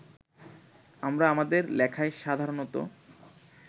আমরা আমাদের লেখায় সাধারণত